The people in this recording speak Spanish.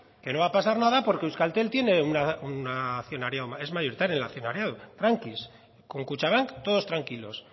que no va a pasar nada porque en euskaltel es mayoritario en el accionariado con kutxabank todos tranquilos